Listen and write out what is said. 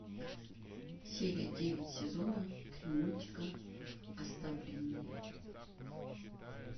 серия девять сезона три мультика оставленные